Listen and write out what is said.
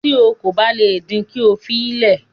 Tí o kò bá le din, kí o fi le